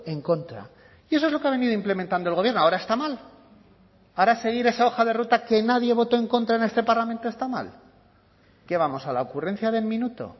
en contra y eso es lo que ha venido implementando el gobierno ahora está mal ahora seguir esa hoja de ruta que nadie votó en contra en este parlamento está mal qué vamos a la ocurrencia del minuto